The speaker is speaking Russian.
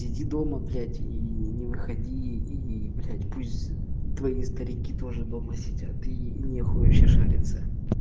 сиди дома блять не выходи и блять пусть твои старики тоже дома сидят и не хуй вообще шариться